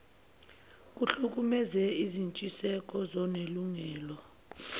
kuhlukumeze izintshiseko zonelungelo